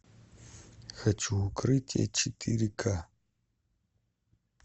хочу укрытие четыре ка